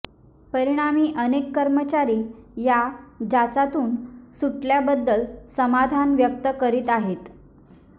परिणामी अनेक कर्मचारी या जाचातून सुटल्याबद्दल समाधान व्यक्त करीत आहेत